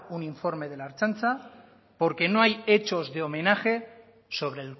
un informe de la ertzaintza porque no hay hechos de homenaje sobre